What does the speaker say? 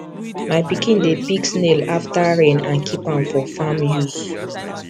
my pikin dey pick snail after rain and keep am for farm use